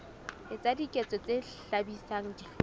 etsa diketso tse hlabisang dihlong